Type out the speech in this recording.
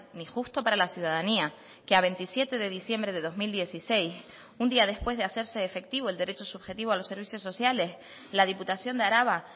ni justo para la ciudadanía que a veintisiete de diciembre de dos mil dieciséis un día después de hacerse efectivo el derecho subjetivo a los servicios sociales la diputación de araba